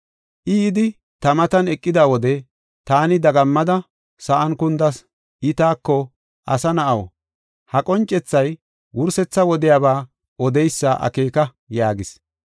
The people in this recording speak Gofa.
I, yidi ta matan eqida wode, taani dagammada, sa7an kundas. I taako, “Asa na7aw, ha qoncethay wursetha wodiyaba odeysa akeeka” yaagis.